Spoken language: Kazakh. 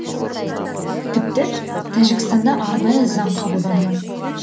тіпті тәжікстанда арнайы заң қабылданған